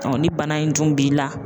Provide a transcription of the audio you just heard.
ni bana in dun b'i la.